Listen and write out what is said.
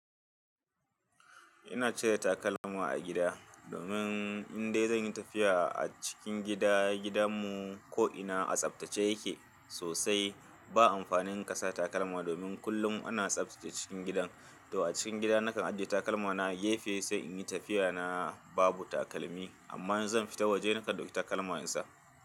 Ina cire takalma a gida domin in dai zan yi tafiya a cikin gida, gidanmu ko'ina a tsaftace yake sosai. Ba amfanin kasa takalma domin kullum ana tsaftace cikin gidan. To a cikin gida nakan ajiye takalmana, gefe sai in yi tafiya na babu takalmi, amma in zan fita waje nakan ɗauki takalma in sa.